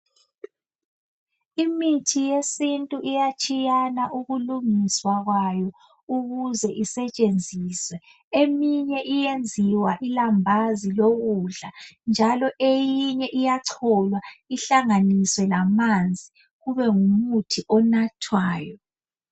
imithi yesintu iyatshiyana ukulungiswa kwayo ukuze isetshenziswe emine iyenziwa ilambazi lokudla njalo eyinye iyacholwa ihlanganise lamanzi kube ngumuthi onathwayo